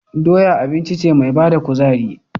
Doya abinci ce me bada kuzari